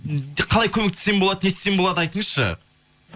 қалай көмектессем болады не істесем болады айтыңызшы